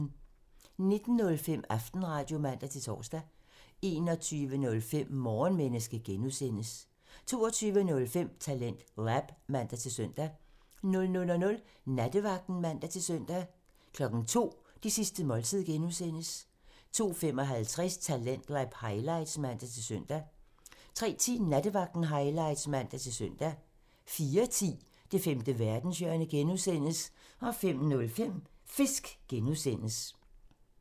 19:05: Aftenradio (man-tor) 21:05: Morgenmenneske (G) 22:05: TalentLab (man-søn) 00:00: Nattevagten (man-søn) 02:00: Det sidste måltid (G) 02:55: Talentlab highlights (man-søn) 03:10: Nattevagten highlights (man-søn) 04:10: Det femte verdenshjørne (G) 05:05: Fisk (G)